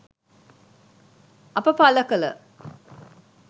අප පළ කළ